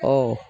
Ɔ